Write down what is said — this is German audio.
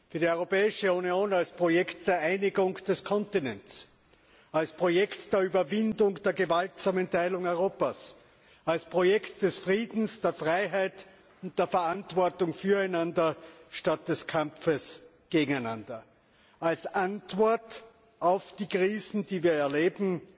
Für die Europäische Union als Projekt der Einigung des Kontinents, als Projekt der Überwindung der gewaltsamen Teilung Europas, als Projekt des Friedens, der Freiheit und der Verantwortung füreinander statt des Kampfes gegeneinander, als Antwort auf die Krisen, die wir erleben